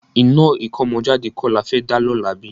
Iná ìkómọjáde kọ́ la fẹ́ dá lọ́la bí?